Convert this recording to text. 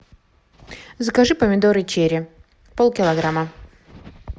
закажи помидоры черри полкилограмма